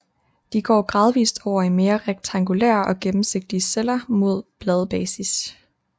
De går gradvist over i mere rektangulære og gennemsigtige celler mod bladbasis